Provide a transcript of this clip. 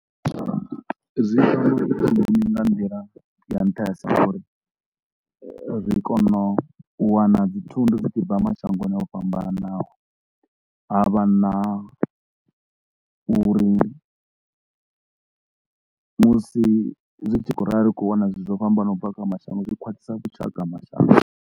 Zwi hone ni nga nḓila ya nṱhesa uri ri kone u wana dzi thundu dzi tshi bva mashangoni o fhambananaho ha vha na uri musi zwi tshi khou rali ri tshi kho u wana zwithu zwo fhambanaho u bva kha mashango zwi khwaṱhisa vhushaka ha mashango.